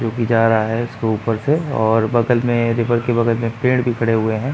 जोकि जा रहा है इसके ऊपर से और बगल में रिवर के बगल में पेड़ भी खड़े हुए हैं।